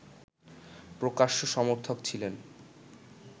প্রকাশ্য সমর্থক ছিলেন